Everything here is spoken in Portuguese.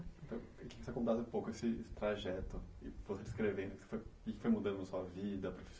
Queria que contasse um pouco esse trajeto, você descrevendo o que foi mudando na sua vida.